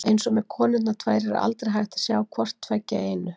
Eins og með konurnar tvær er aldrei hægt að sjá hvort tveggja í einu.